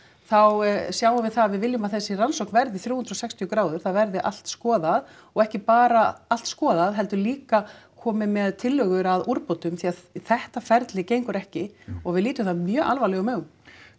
þá sjáum við það að við viljum að þessi rannsókn verði þrjú hundruð og sextíu gráður það verði allt skoðað og ekki bara allt skoðað heldur líka komið með tillögur að úrbótum því þetta ferli gengur ekki og við lítum það mjög alvarlegum augum